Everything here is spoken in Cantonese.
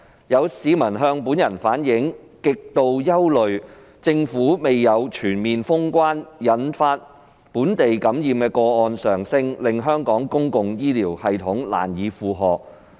有市民向本人反映，極度憂慮政府未有"全面封關"將引發本地感染的個案上升，令香港公共醫療系統難以負荷。